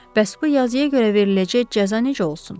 Bəs bu yazıya görə veriləcək cəza necə olsun?